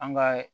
An ka